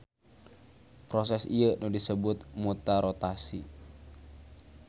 Proses ieu disebut mutarotasi.